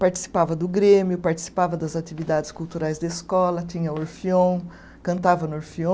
Participava do Grêmio, participava das atividades culturais da escola, tinha orfeão, cantava no orfeão.